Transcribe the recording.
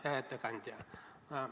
Hea ettekandja!